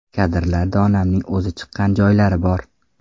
Kadrlarda onamning o‘zi chiqqan joylari bor.